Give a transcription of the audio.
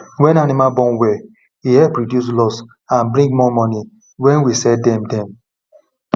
when animal born well e help reduce loss and bring more money when we sell dem dem